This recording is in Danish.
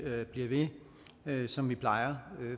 bliver ved som vi plejer